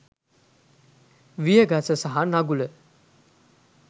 විය ගස සහ නගුල